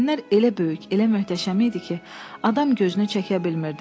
Vitrinlər elə böyük, elə möhtəşəm idi ki, adam gözünü çəkə bilmirdi.